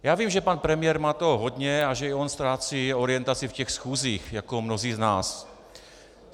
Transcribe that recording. Já vím, že pan premiér toho má hodně a že i on ztrácí orientaci v těch schůzích, jako mnozí z nás.